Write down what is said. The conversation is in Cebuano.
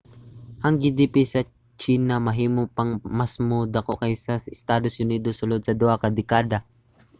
ang gdp sa tsina mahimo pang masmo dako kaysa sa estados unidos sulod sa duha ka dekada